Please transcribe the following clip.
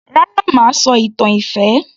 Rárá mà á sọ ìtàn ìfẹ́